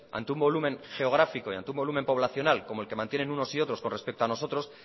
ante un volumen geográfico y ante un volumen poblacional como el que mantienen unos y otros respecto a nosotros